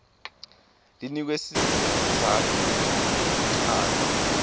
linikwe sizatfu kuchaza